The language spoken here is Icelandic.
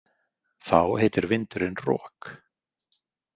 Þá heitir vindurinn rok.